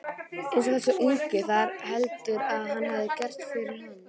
En þessi ungi, hvað heldurðu að hafi gerst fyrir hann?